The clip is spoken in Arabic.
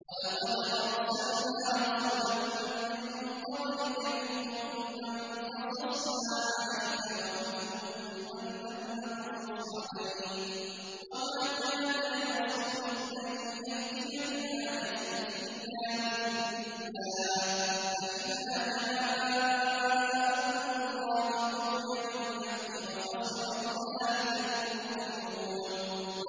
وَلَقَدْ أَرْسَلْنَا رُسُلًا مِّن قَبْلِكَ مِنْهُم مَّن قَصَصْنَا عَلَيْكَ وَمِنْهُم مَّن لَّمْ نَقْصُصْ عَلَيْكَ ۗ وَمَا كَانَ لِرَسُولٍ أَن يَأْتِيَ بِآيَةٍ إِلَّا بِإِذْنِ اللَّهِ ۚ فَإِذَا جَاءَ أَمْرُ اللَّهِ قُضِيَ بِالْحَقِّ وَخَسِرَ هُنَالِكَ الْمُبْطِلُونَ